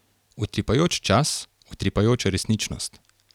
Utripajoč čas, utripajoča resničnost.